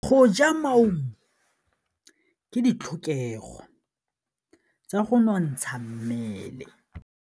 Go ja maungo ke ditlhokegô tsa go nontsha mmele.